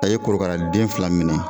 A ye korokara den fila minɛ